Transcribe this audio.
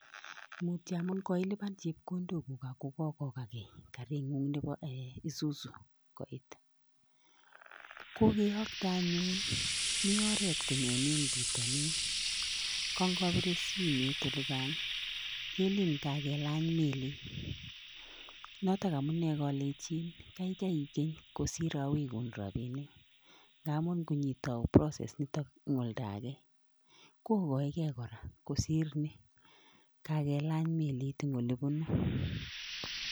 Mutio amun koilipan chepkondoguk ako kokokagei karing'ung' nebo isuzu koit. Kokeyokte anyun mi oret konyoni eng pitonin. Kangopire simet olikan kelin kakelany melit. Notok amune kalechin kakai ikeny kosir awegun rabinik. Ngamun nginyitou process nitok eng olda age kokoegei kora kosir ni kakelany melit eng olipunu.